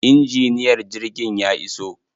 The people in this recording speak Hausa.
Injiniyar jirgin ya iso.